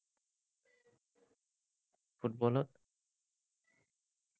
ফুটবলত?